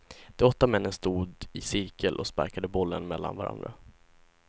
De åtta männen stod i cirkel och sparkade bollen mellan varandra.